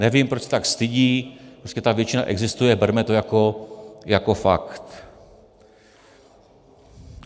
Nevím, proč se tak stydí, prostě ta většina existuje, berme to jako fakt.